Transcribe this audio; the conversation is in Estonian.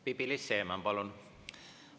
Pipi-Liis Siemann, palun!